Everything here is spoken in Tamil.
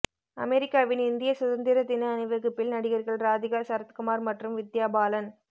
அமெரிக்காவின் இந்திய சுதந்திர தின அணிவகுப்பில் நடிகர்கள் ராதிகா சரத்குமார் மற்றும் வித்யா பலன்